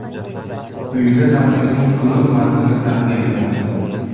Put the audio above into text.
Quyida tabrikning to‘liq matnini taqdim etamiz.